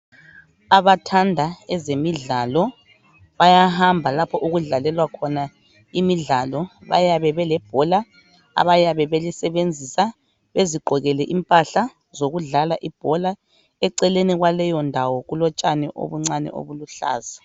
Abathanda ezemidlalo bayahamba lapho okudlalelwa khona imidlalo bayabe belebhola abayabe belisebenzisa ezigqokele impahla zokudlala ibhola eceleni kwaleyondawo kulotshani obuncane obuluhlaza.